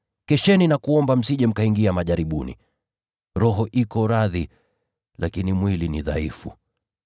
Kesheni na mwombe, msije mkaingia majaribuni. Roho iko radhi, lakini mwili ni mdhaifu.”